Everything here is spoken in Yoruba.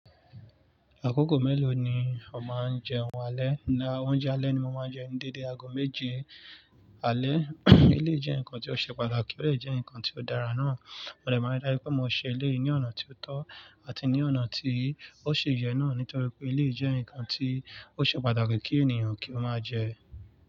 Àkókò mélòó ni ó máa ń jẹun alẹ́? Ǹjẹ́ oúnjẹ alẹ́ ni mo máa ń jẹ dédé ago méje alẹ́? Eleyi jẹ́ ǹkan tió ṣe pàtàkì, ọ̀ dè jẹ́ ǹkan tió dára náà, mo dè máa n rí dájú pé mo ṣe eléyi ní ọ̀nà tí ó tọ́ àti ní ọ̀nà tí ó ṣi yẹ náà nítorí pé eleyi jẹ́ ǹkan tí ó ṣe pàtàkì kí ènìyàn kí ó máa jẹ.